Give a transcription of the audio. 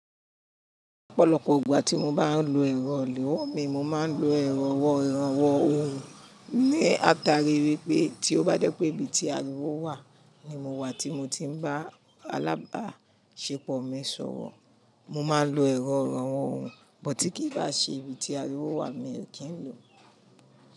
Ọ̀pọ̀lọpọ̀ ìgbà tí mo bá ń lo ẹ̀rọ òòlù mi, mo máa ń lo ẹ̀rọ ọ̀wọ̀ran ọ̀wọ̀n ní ata ríi wípé tí ó bá jẹ́ pé ibi tí ariwo wà Ni mo wà tí mo tí ń bá alábàáṣepọ̀ mi sọ̀rọ̀, mo máa lo ẹ̀rọ irànwọ́ ohùn, but tí kì í bá ṣe ibi tí ariwo wà mi ò kí ń lò ó.